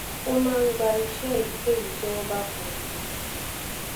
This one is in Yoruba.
ó máa ń gba iṣé èyíkéyìí tí wón bá fún un